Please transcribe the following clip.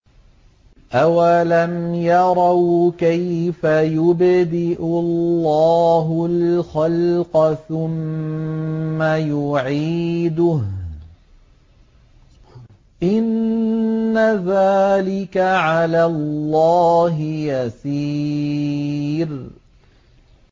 أَوَلَمْ يَرَوْا كَيْفَ يُبْدِئُ اللَّهُ الْخَلْقَ ثُمَّ يُعِيدُهُ ۚ إِنَّ ذَٰلِكَ عَلَى اللَّهِ يَسِيرٌ